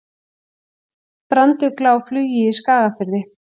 Brandugla á flugi í Skagafirði.